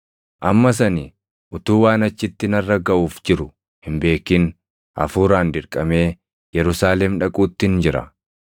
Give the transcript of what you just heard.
“Ammas ani utuu waan achitti narra gaʼuuf jiru hin beekin Hafuuraan dirqamee Yerusaalem dhaquuttin jira.